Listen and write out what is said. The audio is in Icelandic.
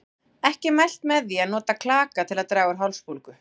Ekki er mælt með því að nota klaka til að draga úr hálsbólgu.